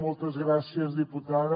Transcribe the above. moltes gràcies diputada